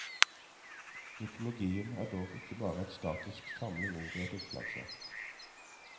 Mytologien er dog ikke bare en statisk samling ord i et oppslagsverk.